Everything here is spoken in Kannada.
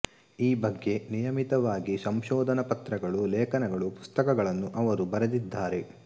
ಈ ಬಗ್ಗೆ ನಿಯಮಿತವಾಗಿ ಸಂಶೋಧನ ಪತ್ರಗಳು ಲೇಖನಗಳು ಪುಸ್ತಕಗಳನ್ನು ಅವರು ಬರೆದಿದ್ದಾರೆ